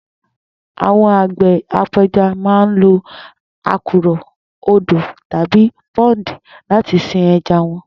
Àwo̩n àgbè̩ ape̩ja máa ń lo àkùrò̩, odò tàbí pó̩ńdì láti sin e̩ja wo̩n